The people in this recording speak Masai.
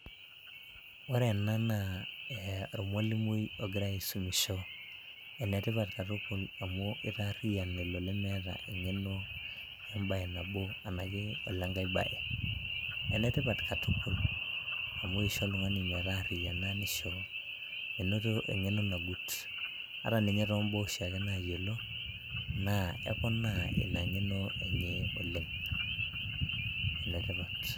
ore ena naa ormalimui oira aisumisho. ene tipat katukul amu itaariyian olemeeta eng'eno ebae nabo, enake olengae bae, ene tipat katukul, amu isho oltungani metaariyiana, nisho menoto engeno nang'ut, ata ninye to baa oshiaake naayiolo, naa eponaa ina ng'eno enye oleng, enetipat.